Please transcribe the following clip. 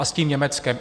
A s tím Německem.